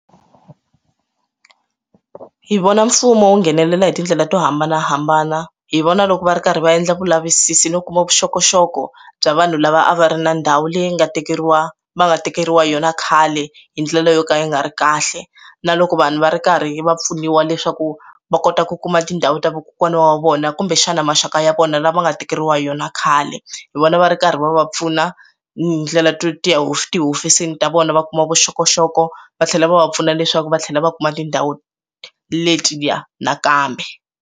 Hi vona mfumo wu nghenelela hi tindlela to hambanahambana hi vona loko va ri karhi va endla vulavisisi no kuma vuxokoxoko bya vanhu lava a va ri na ndhawu leyi nga tekeriwa va nga tekeriwa yona khale hi ndlela yo ka yi nga ri kahle na loko vanhu va ri karhi va pfuniwa leswaku va kota ku kuma tindhawu ta vukela n'wana wa vona kumbexana maxaka ya vona lama nga tekeriwa yona khale hi vona va ri karhi va va pfuna ndlela twe tiya hofisi tihofisini ta vona va kuma vuxokoxoko va tlhela va va pfuna leswaku va tlhela va kuma tindhawu letiya nakambe.